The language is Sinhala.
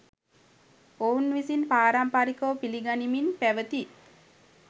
ඔවුන් විසින් පාරම්පරිකව පිළිගනිමින් පැවැති